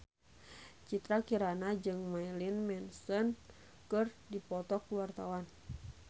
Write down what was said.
Citra Kirana jeung Marilyn Manson keur dipoto ku wartawan